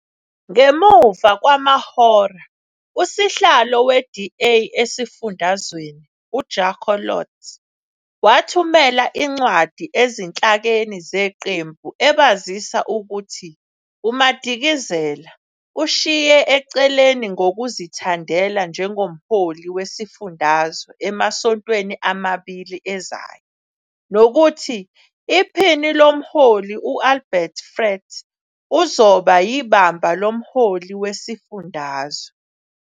Ngemuva kwamahora, uSihlalo we-DA esifundazweni, uJaco Londt, wathumela incwadi ezinhlakeni zeqembu ebazisa ukuthi uMadikizela "ushiye eceleni ngokuzithandela" njengomholi wesifundazwe emasontweni amabili ezayo nokuthi iphini lomholi u-Albert Fritz uzoba yibamba lomholi wesifundazwe.